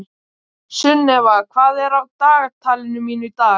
Sunnefa, hvað er á dagatalinu mínu í dag?